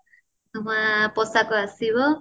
ନୂଆ ପୋଷାକ ଆସିବ